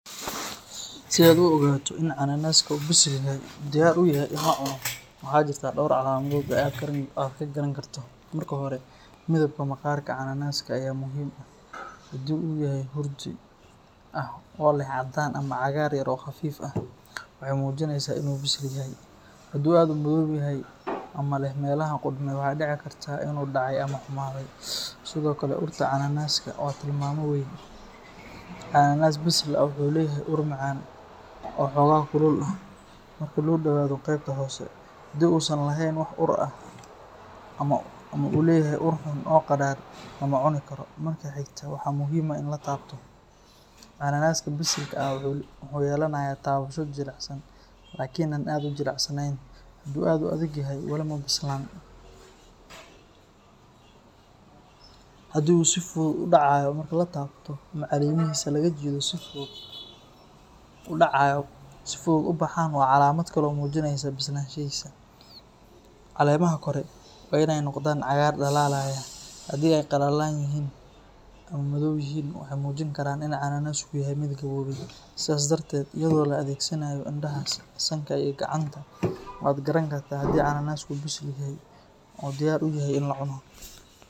Si aad u ogaato in cananaska uu bisil yahay oo uu diyaar u yahay in la cuno, waxaa jirta dhowr calaamadood oo aad ka garan karto. Marka hore, midabka maqaarka cananaska ayaa muhiim ah; haddii uu yahay hurdi ah oo leh caddaan ama cagaar yar oo khafiif ah, waxay muujinaysaa inuu bisil yahay. Haddii uu aad u madow yahay ama leh meelaha qudhmay, waxaa dhici karta inuu dhacay ama xumaaday. Sidoo kale, urta cananaska waa tilmaame weyn. Cananas bisil ah wuxuu leeyahay ur macaan oo xoogaa kulul ah marka loo dhowaado qaybta hoose. Haddii uusan lahayn wax ur ah ama uu leeyahay ur xun oo qadhaadh, lama cuni karo. Marka xigta, waxaa muhiim ah in la taabto; cananaska bisil ah wuxuu yeelanayaa taabasho jilicsan laakiin aan aad u jilicsanayn. Haddii uu aad u adag yahay, wali ma bislaan. Haddii uu si fudud u dhacayo marka la taabto ama caleemihiisa laga jiido si fudud ku baxaan, waa calaamad kale oo muujinaysa bislaanshihiisa. Caleemaha kore waa inay noqdaan cagaar dhalaalaya, haddii ay qallalan yihiin ama madaw yihiin, waxay muujin karaan in cananasku yahay mid gaboobay. Sidaas darteed, iyadoo la adeegsanayo indhaha, sanka, iyo gacanta, waad garan kartaa haddii cananasku uu bisil yahay oo diyaar u yahay in la cuno.